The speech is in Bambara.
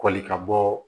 Kɔli ka bɔ